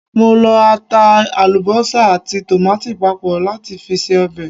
Mo lọ ata, àlùbọ́sà àti tòmáàtì papọ̀ láti fi ṣe ọbẹ̀.